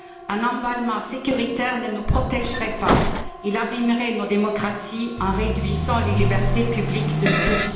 Un emballement sécuritaire ne nous protègerait pas, il abîmerait nos démocraties en réduisant les libertés publiques de tous.